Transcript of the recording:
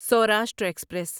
Saurashtra express